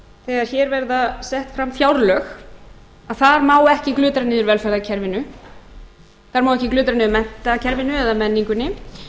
þegar hér verða sett fram fjárlög að það má ekki glutra niður velferðarkerfinu það má ekki glutra niður menntakerfinu eða menningunni